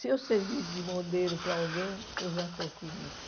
Se eu servir de modelo para alguém, eu já estou feliz.